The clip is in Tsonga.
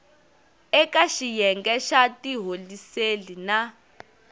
eka xiyenge xa tiholiseli na